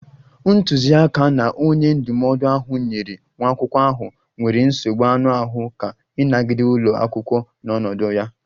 Ntuziaka na onye ndụmọdụ ahụ nyeere nwa akwụkwọ ahụ nwere nsogbu anụ ahụ aka ịnagide ụlọ akwụkwọ n'ọnọdụ ya